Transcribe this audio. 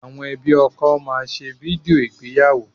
Àwọn ẹbí ọkọ máa ṣe fídíò ìgbéyàwó